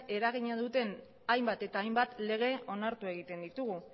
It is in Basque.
eragina duten hainbat eta hainbat lege onartu egiten ditugu